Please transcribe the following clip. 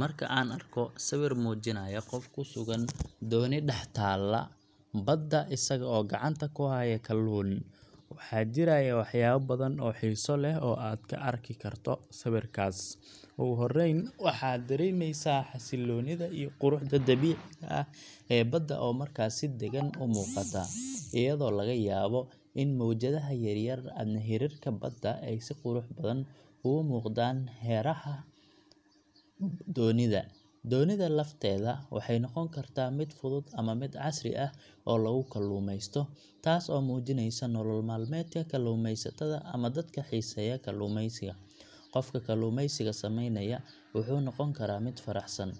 Marka aan arko sawir muujinaya qof ku sugan dooni dhex taal badda isaga oo gacanta ku haya kalluun, waxaa jiraya waxyaabo badan oo xiiso leh oo aad ka arki karto sawirkaas. Ugu horreyn, waxaa dareemeysaa xasilloonida iyo quruxda dabiiciga ah ee badda oo markaas si deggan u muuqata, iyadoo laga yaabo in mowjadaha yaryar ama hirarka badda ay si qurux badan uga muuqdaan hareeraha doonida. Doonida lafteeda waxay noqon kartaa mid fudud ama mid casri ah oo lagu kalluumaysto, taas oo muujinaysa nolol maalmeedka kalluumaysatada ama dadka xiiseeya kalluumaysiga. Qofka kalluumaysiga sameynaya wuxuu noqon karaa mid faraxsan,